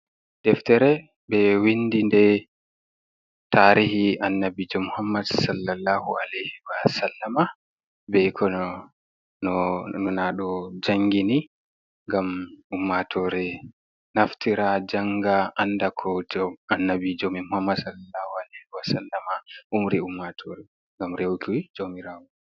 Deftere ɓe windi nde tarihi annabijo Mohammad sallallahu alehi wa sallama be ko nona ɗo jangini ngam ummatore naftira janga anda koto annabijo men Muhammad salallahu alehi wa sallma umri ummatore ngam rewuki jaumirawo.